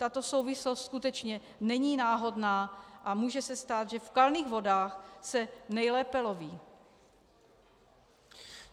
Tato souvislost skutečně není náhodná a může se stát, že v kalných vodách se nejlépe loví.